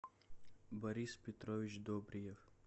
борис петрович добриев